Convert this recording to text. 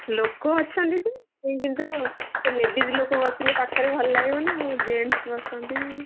ଲୋକ ଅଛନ୍ତି ଯେ କିନ୍ତୁ ladies ଲୋକ ବସିଲେ ପାଖରେ ଭଲ ଲାଗିବ ନା ଆଉ gents ବସିଛନ୍ତି।